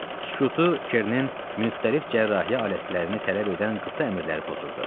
Sükutu Kernin müxtəlif cərrahiyyə alətlərini tələb edən qısa əmrləri pozurdu.